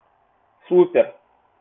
супер